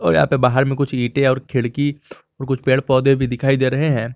और यहां पे बाहर में कुछ ईंटें और खिड़की और कुछ पेड़ पौधे भी दिखाई दे रहे हैं।